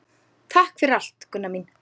Takk fyrir allt, Gunna mín.